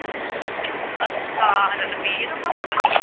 ਅੱਛਾ ਰਣਵੀਰ ਵਾਂ।